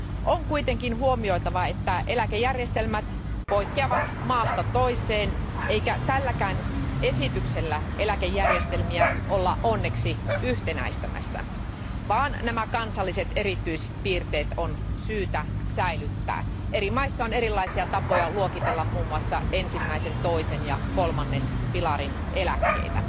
On kuitenkin huomioitava, että eläkejärjestelmät poikkeavat maasta toiseen, eikä tälläkään esityksellä eläkejärjestelmiä olla onneksi yhtenäistämässä, vaan nämä kansalliset erityispiirteet on syytä säilyttää eri maissa on erilaisia tapoja luokitella muun muassa ensimmäisen, toisen ja kolmannen pilarin eläkkeitä.